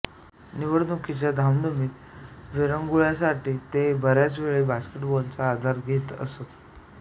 निवडणुकीच्या धामधूमीत विरंगुळ्यासाठी ते बऱ्याचवेळ बास्केटबॉलचा आधार घेत असत